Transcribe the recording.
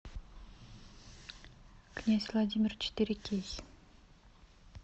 князь владимир четыре кей